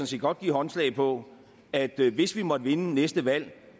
set godt give håndslag på at hvis vi måtte vinde næste valg